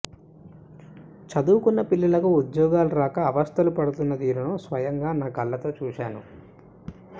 చదువుకున్న పిల్లలకు ఉద్యోగాలు రాక అవస్థలు పడుతున్న తీరును స్వయంగా నా కళ్లతో చూశాను